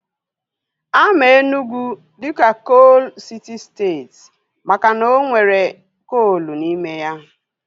Ama Enugwu dịka koolu siti steeti makana o nwere koolu n'ime ya